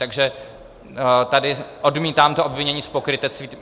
Takže tady odmítám to obvinění z pokrytectví.